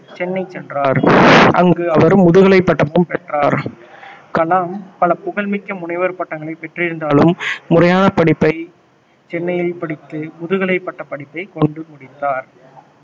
சென்னை சென்றார் அங்கு அவர் முதுகலை பட்டமும் பெற்றார் கலாம் பல புகழ்மிக்க முனைவர் பட்டங்களை பெற்றிருந்தாலும் முறையான படிப்பை சென்னையில் படித்து முதுகலை பட்டப்படிப்பை கொண்டு முடித்தார்